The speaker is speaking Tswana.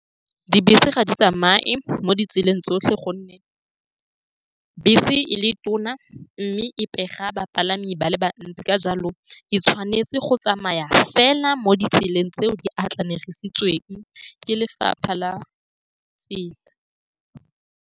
Dibese ga di tsamaye mo ditseleng tsotlhe ka gonne bese e le tona mme e pega bapalami ba le bantsi. Ka jalo, e tshwanetse go tsamaya fela mo ditseleng tseo di atlenegisitsweng ke lefapha la tsela.